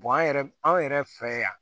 an yɛrɛ anw yɛrɛ fɛ yan